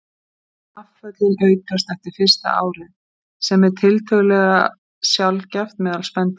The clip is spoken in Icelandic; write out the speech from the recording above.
Afföllin aukast eftir fyrsta árið, sem er tiltölulega sjaldgæft meðal spendýra.